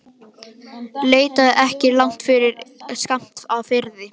Leitaðu ekki langt yfir skammt að friði.